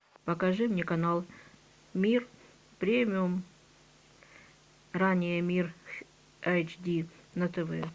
покажи мне канал мир премиум ранее мир эйч ди на тв